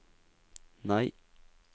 nei